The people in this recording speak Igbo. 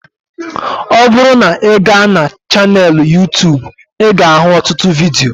Ọ bụrụ na ị ga na chaneelụ Yuu-tuubu ị ga ahụ ọtụtụ vidio